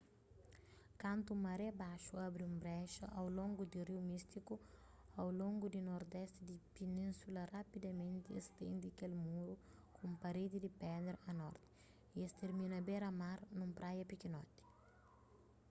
kantu maré baxu abri un brexa au longu di riu místiku au longu di nordesti di pinínsula rapidamenti es stende kel muru ku un paredi di pedra a norti y es termina bera mar nun praia pikinoti